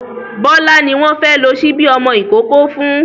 Bọ́lá ni wọ́n fẹ́ lo ṣíbí ọmọ ìkókó.